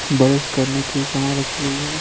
बरस करने की समान रखी गई है।